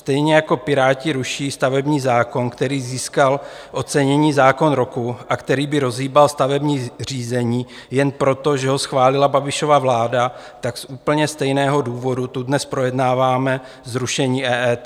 Stejně jako Piráti ruší stavební zákon, který získal ocenění Zákon roku a který by rozhýbal stavební řízení, jen proto, že ho schválila Babišova vláda, tak z úplně stejného důvodu tu dnes projednáváme zrušení EET.